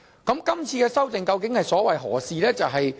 今次的修訂究竟所為何事？